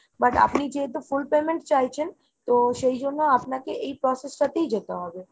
but আপনি যেহেতু full payment চাইছেন, তো সেইজন্য আপনাকে এই process টাতেই যেতে হবে।